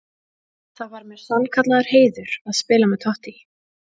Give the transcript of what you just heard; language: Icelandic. Það væri mér sannkallaður heiður að spila með Totti.